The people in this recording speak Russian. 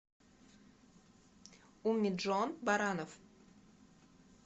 умиджон баранов